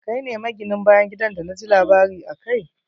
Kai ne mi gin bayan gidan d na ji labari akai.